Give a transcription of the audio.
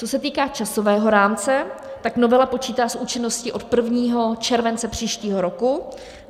Co se týká časového rámce, tak novela počítá s účinností od 1. července příštího roku.